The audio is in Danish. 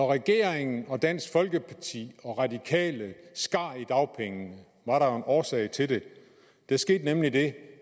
regeringen og dansk folkeparti og radikale skar i dagpengene var der jo en årsag til det der skete nemlig det